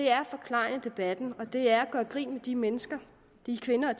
er at forklejne debatten og det er at gøre grin med de mennesker de kvinder